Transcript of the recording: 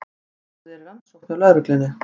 Málið er í rannsókn hjá lögreglunni